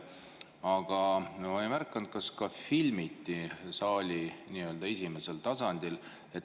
Aga ma ei märganud, kas ka filmiti saali nii‑öelda esimesel tasandil.